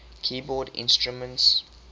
keyboard instruments